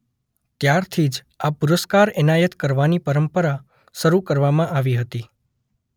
ત્યારથી જ આ પુરસ્કાર એનાયત કરવાની પરંપરા શરૂ કરવામાં આવી હતી